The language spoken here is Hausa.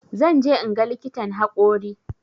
Zan je inga likitan haƙori